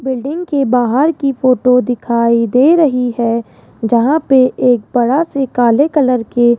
building की बाहर की फोटो दिखाई दे रही है जहां पे एक बड़ा से काले कलर के --